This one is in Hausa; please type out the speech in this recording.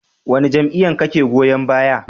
Wane jam'iyya kake goyon baya?